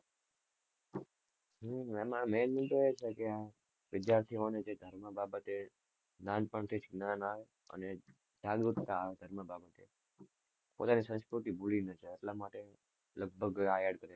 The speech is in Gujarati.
હમ એમાં main વિષય જ હતો કે વિદ્યાર્થીઓને સંસ્કૃતિ બાબતે નાનપણથી જ જ્ઞાન આવે અને જાગૃતતા આવે એમાં બાબતે, પોતાની સંસ્કૃતિ ભૂલી ના જાય એટલા માટે લગભગ આ add કર્યું